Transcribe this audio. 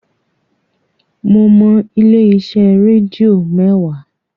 Mo mọ ilé-iṣẹ́ rédíò mẹ́wàá